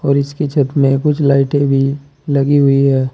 और इसकी छत में कुछ लाइटें भी लगी हुई है।